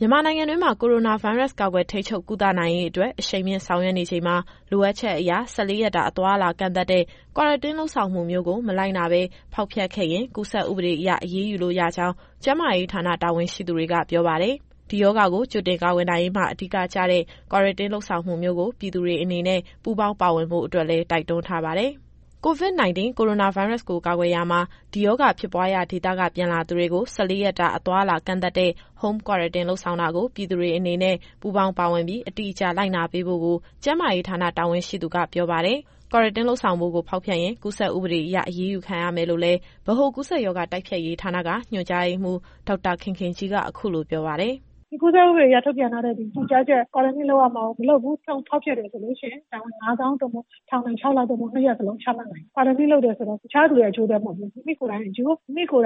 မြန်မာနိုင်ငံတွင်းမှာ ကိုရိုနာဗိုင်းရပ်စ် ကာကွယ်ထိန်းချုပ် ကုသနိုင်ရေးအတွက် အရှိန်မြှင့်ဆောင်ရွက်နေချိန်မှာ လိုအပ်ချက်အရ ၁၄ ရက်တာ အသွားအလာ ကန့်သတ်တဲ့ Quarantine လုပ်ဆောင်မှုမျိုးကို မလိုက်နာဘဲ ဖောက်ဖျက်ခဲ့ရင် ကူးစက်ဥပဒေအရ အရေးယူလို့ရကြောင်း ကျန်းမာရေးဌာန တာဝန်ရှိသူတွေက ပြောပါတယ်။ ဒီရောဂါကို ကြိုတင်ကာကွယ်နိုင်ရေးမှာ အဓိကကျတဲ့ Quarantine လုပ်ဆောင်မှုမျိုးကို ပြည်သူတွေအနေနဲ့ ပူးပေါင်းပါဝင်ဖို့အတွက်လည်း တိုက်တွန်းထားပါတယ်။ အပြည့်အစုံကို ဗွီအိုအေသတင်းထောက် စုစုကပြောပြသွားမှာပါ။ COVID-19 ကိုရိုနာဗိုင်းရပ်စ်ကို ကာကွယ်ရာမှာ ဒီရောဂါဖြစ်ပွားရာဒေသက ပြန်လာသူတွေကို ၁၄ ရက်တာ အသွားအလာကန့်သတ်ထားတဲ့ Home Quarantine လုပ်ဆောင်တာကို ပြည်သူတွေအနေနဲ့ ပူးပေါင်းပါဝင်ပြီး အတိအကျလိုက်နာပေးဖို့ကို ကျန်းမာရေးဌာန တာဝန်ရှိသူကပြောပါတယ်။ Quarantine လုပ်ဆောင်ဖို့ကို ဖောက်ဖျက်ရင် ကူးစက်ဥပဒေအရ အရေးယူခံရမယ်လို့လည်း ဗဟိုကူးစက်ရောဂါ တိုက်ဖျက်ရေးဌာနက ညွှန်ကြားရေးမှူး ဒေါက်တာခင်ခင်ကြီးက အခုလိုပြောပါတယ်။ “ဒီကူးစက်ဥပဒေအရ ထုတ်ပြန်ထားတဲ့ ညွှန်ကြားချက်၊ Quarantine လုပ်ရမှာကို မလုပ်ဘူး၊ ဖောက်ဖျက်တယ်ဆိုလို့ရှိရင် ဒဏ်ငွေ ငါးသောင်း သို့မဟုတ် ထောင်ဒဏ် ခြောက်လ သို့မဟုတ် နှစ်ရပ်လုံးချမှတ်နိုင်တယ်။ Quarantine လုပ်တယ်ဆိုတာ တခြားသူရဲ့ အကျိုးအတွက်မဟုတ်ဘူး။ မိမိကိုယ်တိုင်အကျိုး၊ မိမိက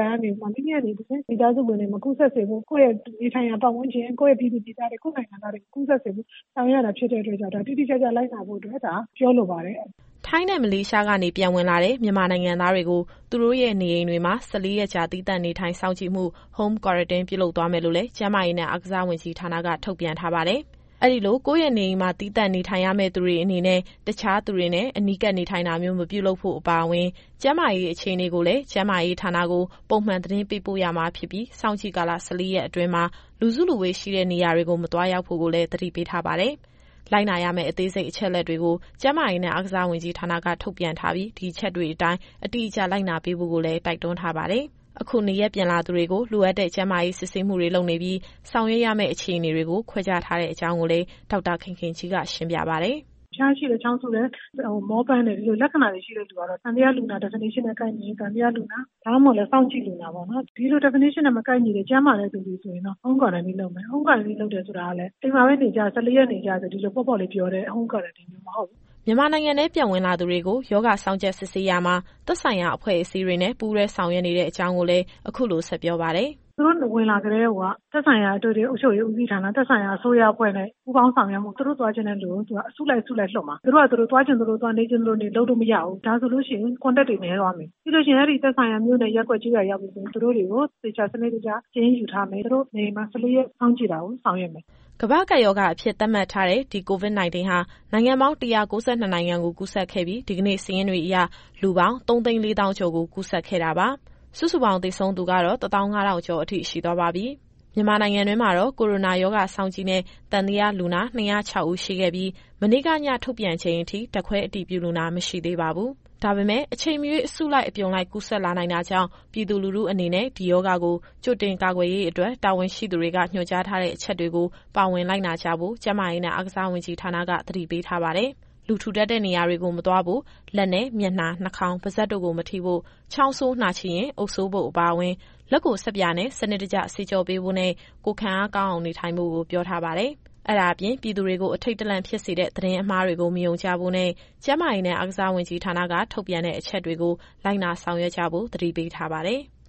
နေ တဆင့် မိသားစုဝင်တွေ မကူးစက်စေဖို့၊ ကိုယ့်ရဲ့နေထိုင်ရာ ပတ်ဝန်းကျင်၊ ကိုယ့်ရဲ့ပြည်သူပြည်သားတွေ ကိုယ့်နိုင်ငံသားတွေ မကူးစက်စေဖို့ ဆောင်ရွက်ရတာဖြစ်တဲ့အတွက်ကြောင့် ဒါကိုတိတိကျကျ လိုက်နာဖို့အတွက် ပြောလိုပါတယ်။” ထိုင်းနဲ့ မလေးရှားကနေ ပြန်ဝင်လာတဲ့ မြန်မာနိုင်ငံသားတွေကို သူတို့ရဲ့ နေအိမ်တွေမှာ ၁၄ ရက်ကြာ သီးသန့်နေထိုင်စောင့်ကြည့်မှု Home Quarantine ပြုလုပ်သွားမယ်လို့လည်း ကျန်းမာရေးနဲ့အားကစားဝန်ကြီးဌာနက ထုတ်ပြန်ထားပါတယ်။ အဲဒီလို ကိုယ့်ရဲ့နေအိမ်မှာ သီးသန့်နေထိုင်ရမယ့်သူတွေအနေနဲ့ တခြားသူတွေနဲ့ အနီးကပ်နေထိုင်တာမျိုး မပြုလုပ်ဖို့အပါအဝင် ကျန်းမာရေးအခြေအနေကိုလည်း ကျန်းမာရေးဌာနကို ပုံမှန်သတင်းပေးပို့ရမှာဖြစ်ပြီး စောင့်ကြည့်ကာလ ၁၄ ရက်အတွင်းမှာ လူစုလူဝေးရှိတဲ့နေရာတွေကို မသွားရောက်ဖို့ကိုလည်း သတိပေးထားပါတယ်။ လိုက်နာရမယ့် အသေးစိတ်အချက်အလက်တွေကို ကျန်းမာရေးနဲ့ အားကစားဝန်ကြီးဌာနက ထုတ်ပြန်ထားပြီး ဒီအချက်တွေအတိုင်း အတိအကျလိုက်နာပေးဖို့ကိုလည်း တိုက်တွန်းထားပါတယ်။ အခုနေရပ်ပြန်လာသူတွေကို လိုအပ်တဲ့ကျန်းမာရေး စစ်ဆေးမှုတွေ လုပ်နေပြီး ဆောင်ရွက်ပေးရမယ့်အခြေအနေတွေကို ခွဲခြားထားတဲ့အကြောင်းကိုလည်း ဒေါက်တာခင်ခင်ကြီးက ရှင်းပြပါတယ်။ “အဖျားရှိတယ်၊ ချောင်းဆိုးတယ်၊ မောပန်းတယ်။ ဒီလိုလက္ခဏာတွေ ရှိတဲ့လူကတော့ သံသယလူနာ Definition နဲ့ ကိုက်ညီရင် သံသယလူနာ၊ ဒါမှမဟုတ်လည်း စောင့်ကြည့်လူနာပေါ့နော်။ ဒီလို Definition နဲ့ မကိုက်ညီတဲ့ ကျန်းမာတဲ့သူတွေဆိုရင်တော့ Home Quarantine လုပ်မယ်။ Home Quarantine လုပ်တယ်ဆိုတာကလည်း အိမ်မှာပဲ ၁၄ရက်နေကြဆိုပြီး ဒီလိုပေါ့ပေါ့လေးပြောတဲ့ Home Quarantine မျိုးမဟုတ်ဘူး။” မြန်မာနိုင်ငံထဲ ပြန်ဝင်လာသူတွေကို ရောဂါစောင့်ကြပ်စစ်ဆေးရာမှာ သက်ဆိုင်ရာအဖွဲ့တွေနဲ့ ပူးတွဲဆောင်ရွက်နေကြောင်းလည်း အခုလိုဆက်ပြောပါတယ်။ “သူတို့ဝင်လာကတည်းကိုက သက်ဆိုင်ရာအထွေထွေ အုပ်ချုပ်ရေးဦးစီးဌာန၊ သက်ဆိုင်ရာအစိုးရအဖွဲ့နဲ့ ပူးပေါင်းဆောင်ရွက်ပြီးတော့ သူတို့သွားမယ့်နေရာကို အစုလိုက်လွှတ်မှာ။ သူတို့ဟာသူတို့ သွားချင်သလိုသွား နေချင်သလိုနေ လုပ်လို့မရဘူး။ ဒါဆိုလို့ရှိရင် Contact တွေနည်းသွားမယ်။ ပြီးရင် သူတို့နဲ့သက်ဆိုင်တဲ့ နေရပ်တွေကိုပြန်ရောက်ပြီဆိုရင် သူတို့တွေကို သေချာစနစ်တကျ စာရင်းယူထားမယ်။ သူတို့နေအိမ်မှာ ၁၄ရက်စောင့်ကြည့်တာကို ဆောင်ရွက်မယ်။” ကမ္ဘာ့ကပ်ရောဂါအဖြစ် သတ်မှတ်ထားတဲ့ ဒီ COVID-19 ဟာ နိုင်ငံပေါင်း ၁၉၂ နိုင်ငံကို ကူးစက်ခဲ့ပြီး ဒီကနေ့စာရင်းတွေအရ လူပေါင်း ၃၄၀,၀၀၀ ကျော်ကို ကူးစက်ခဲ့တာပါ။ စုစုပေါင်း သေဆုံးသူကတော့ ၁၅,၀၀၀ ကျော်အထိ ရှိသွားပါပြီ။ မြန်မာနိုင်ငံတွင်းမှာတော့ ကိုရိုနာရောဂါစောင့်ကြည့်နဲ့ သံသယလူနာ ၂၀၆ ဦးရှိခဲ့ပြီး မနေ့က ညထုတ်ပြန်ချိန်အထိ ဓာတ်ခွဲအတည်ပြုလူနာ မရှိသေးပါဘူး။ ဒါပေမယ့် အချိန်မရွေး အစုလိုက်အပြုံလိုက် ကူးစက်လာနိုင်တာကြောင့် ပြည်သူလူထုအနေနဲ့ ဒီရောဂါကို ကြိုတင်ကာကွယ်ရေးအတွက် တာဝန်ရှိသူတွေက ညွှန်ကြားထားတဲ့အချက်တွေကို ပါဝင်လိုက်နာကြဖို့ ကျန်းမာရေးနဲ့ အားကစားဝန်ကြီးဌာနက သတိပေးထားပါတယ်။ လူထူထပ်တဲ့နေရာကိုမသွားဖို့၊ လက်နဲ့ မျက်နှာ၊ နှာခေါင်း၊ ပါးစပ်တို့ကိုမထိဖို့၊ ချောင်းဆိုးနှာချေရင် အုပ်စိုးဖို့အပါအဝင်၊ လက်ကိုဆပ်ပြာနဲ့ စနစ်တကျသေချာဆေးကြောပေးဖို့နဲ့ ကိုယ်ခံအားကောင်းအောင် နေထိုင်ဖို့ကို ပြောထားပါတယ်။ အဲဒါအပြင် ပြည်သူတွေကို အထိတ်တလန့်ဖြစ်စေတဲ့ သတင်းအမှားတွေကို မယုံကြဖို့နဲ့ ကျန်းမာရေးနဲ့ အားကစားဝန်ကြီးဌာနက ထုတ်ပြန်တဲ့ အချက်တွေကို လိုက်နာဆောင်ရွက်ကြဖို့ သတိပေးထားပါတယ်။